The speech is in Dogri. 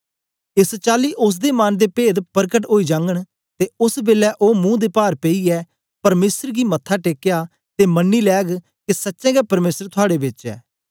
एस चाली ओसदे मन दे पेद परकट ओई जागन ते ओस बेलै ओ मुंह दे पार पेईयै परमेसर गी मत्था टेकया ते मन्नी लैग के सच्चें गै परमेसर थुआड़े बेच ऐ